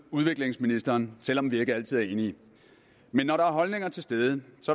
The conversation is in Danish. udviklingsministeren selv om vi ikke altid er enige men når der er holdninger til stede